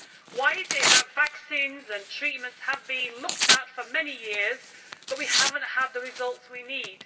Why is it that vaccines and treatments have been looked at for many years but we have not had the results we need?